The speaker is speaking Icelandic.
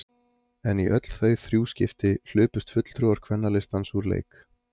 En í öll þau þrjú skipti hlupust fulltrúar Kvennalistans úr leik.